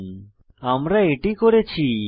এখন আমি এটি করেছি